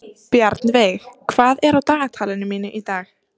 Bjarnveig, hvað er á dagatalinu mínu í dag?